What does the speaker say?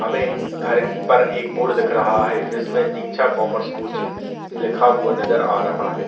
हमें घर पर एक बोर्ड दिख रहा है जिसमें दीक्षा कॉमर्स कोचिंग लिखा हुआ नजर आ रहा है।